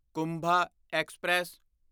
Kumbha express